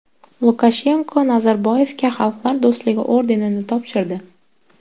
Lukashenko Nazarboyevga Xalqlar do‘stligi ordenini topshirdi.